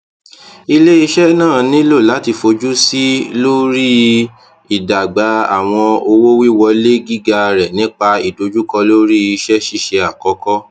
ileiṣẹ naa nilo lati fojusi lori idagba awọn owowiwọle giga rẹ nipa idojukọ lori iṣẹṣiṣe akọkọ